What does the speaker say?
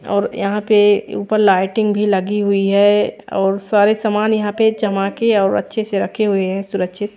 और यहाँ पे ऊपर लाइटिंग भी लगी हुई है और सारे सामान यहाँ पे चमाके और अच्छे से रखे हुए है सुरक्षित।